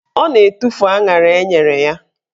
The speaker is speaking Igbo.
Ọ na-etufu aṅara enyere ya.